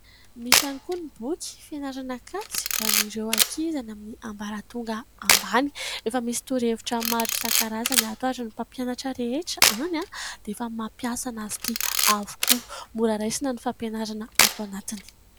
Misy ihany koa ny boky fianarana kajy ho an'ireo ankizy amin'ny ambaratonga ambany efa misy torohevitra maro isan-karazany ato ary ny mpampianatra rehetra any dia efa mampiasa azy ity avokoa. Mora raisina ny fampianarana ato anatiny.